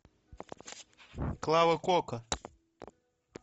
клава кока